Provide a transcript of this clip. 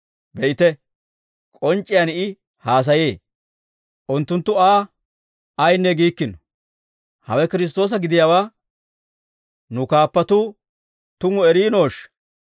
Be'ite, k'onc'c'iyaan I haasayee; unttunttu Aa ayinne giikkino. Hawe Kiristtoosa gidiyaawaa nu kaappatuu tumu eriinooshsha?